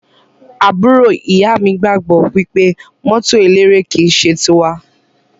Àbúrò ìyá mi gbagbọ wipe mọto eléré ki n ṣe ti wa.